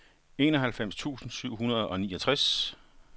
enoghalvfems tusind syv hundrede og niogtres